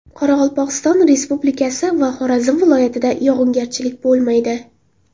Qoraqalpog‘iston Respublikasi va Xorazm viloyatida yog‘ingarchilik bo‘lmaydi.